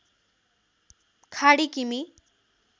खाडी किमि